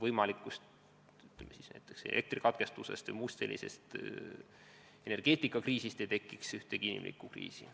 Eesmärk on, et meil ei tekiks näiteks elektrikatkestuse või muu energiaallika ülesütlemise tõttu ühtegi inimesi puudutavat kriisi.